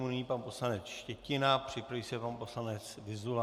Nyní pan poslanec Štětina, připraví se pan poslanec Vyzula.